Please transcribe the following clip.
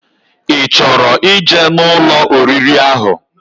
I choro ije na Ụlọ oriri ahu